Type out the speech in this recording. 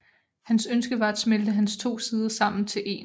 Hans ønske var at smelte hans to sider sammen til én